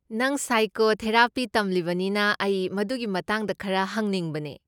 ꯅꯪ ꯁꯥꯏꯀꯣꯊꯦꯔꯥꯄꯤ ꯇꯝꯂꯤꯕꯅꯤꯅ, ꯑꯩ ꯃꯗꯨꯒꯤ ꯃꯇꯥꯡꯗ ꯈꯔ ꯍꯪꯅꯤꯡꯕꯅꯦ꯫